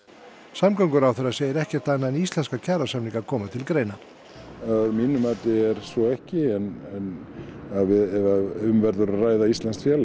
samgönguráðherra segir ekkert annað en íslenska kjarasamninga koma til greina að mínu mati er svo ekki ef um verður að ræða íslenskt félag